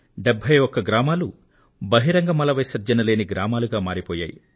71 గ్రామాలు బహిరంగ మల విసర్జన లేని గ్రామాలుగా మారిపోయాయి